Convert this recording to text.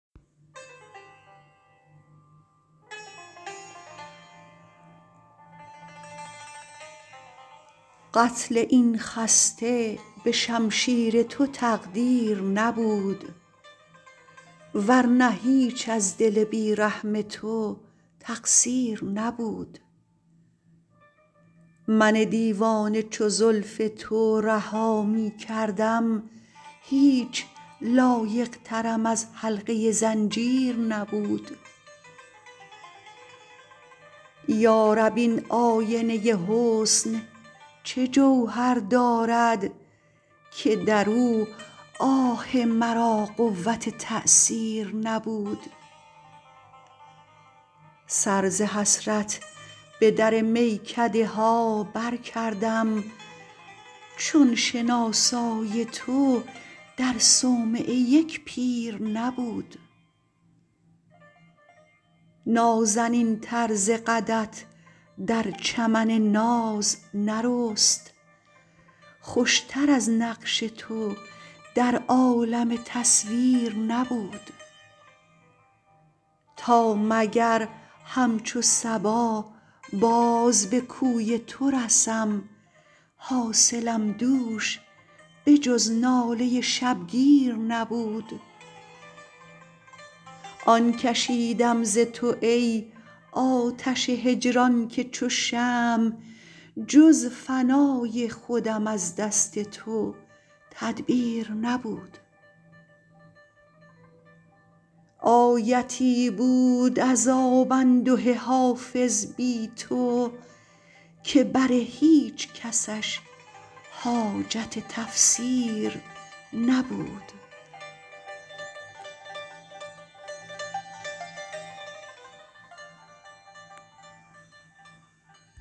قتل این خسته به شمشیر تو تقدیر نبود ور نه هیچ از دل بی رحم تو تقصیر نبود من دیوانه چو زلف تو رها می کردم هیچ لایق ترم از حلقه زنجیر نبود یا رب این آینه حسن چه جوهر دارد که در او آه مرا قوت تأثیر نبود سر ز حسرت به در میکده ها برکردم چون شناسای تو در صومعه یک پیر نبود نازنین تر ز قدت در چمن ناز نرست خوش تر از نقش تو در عالم تصویر نبود تا مگر همچو صبا باز به کوی تو رسم حاصلم دوش به جز ناله شبگیر نبود آن کشیدم ز تو ای آتش هجران که چو شمع جز فنای خودم از دست تو تدبیر نبود آیتی بود عذاب انده حافظ بی تو که بر هیچ کسش حاجت تفسیر نبود